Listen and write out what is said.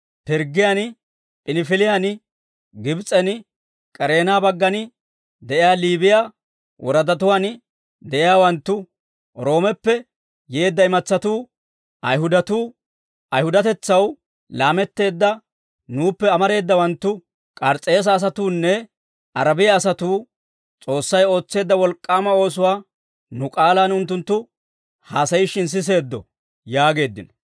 Pirggiyaan, P'inifiliyaan, Gibs'en, K'ereena baggan de'iyaa Liibiyaa woradatuwaan de'iyaawanttu, Roomeppe yeedda imatsatuu, Ayihudatuu, Ayihudatetsaw laametteedda nuuppe amareedawanttu, K'aris's'eese asatuunne, Arabiyaa asatuu, S'oossay ootseedda wolk'k'aama oosuwaa nu k'aalaan unttunttu haasayishshin siseeddo» yaageeddino.